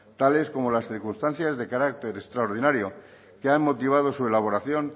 tales como las circunstancias de carácter extraordinario que han motivado su elaboración